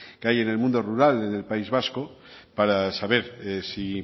que hay en el mundo rural en el país vasco para saber si